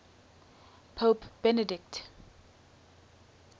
pope benedict